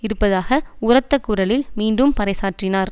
இருப்பதாக உரத்த குரலில் மீண்டும் பறைசாற்றினார்